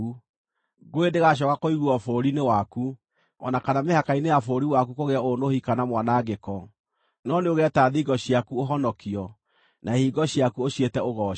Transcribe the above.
Ngũĩ ndĩgaacooka kũiguuo bũrũri-inĩ waku, o na kana mĩhaka-inĩ ya bũrũri waku kũgĩe ũũnũhi kana mwanangĩko, no nĩũgeeta thingo ciaku Ũhonokio, na ihingo ciaku ũciĩte Ũgooci.